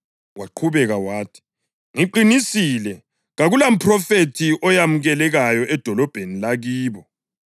Waqhubeka wathi, “Ngiqinisile ngithi kakulamphrofethi oyamukelekayo edolobheni lakibo.